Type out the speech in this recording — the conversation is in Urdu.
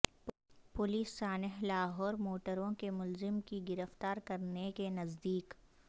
پولیس سانحہ لاہور موٹروے کے ملزم کی گرفتار کرنے کے نزدیک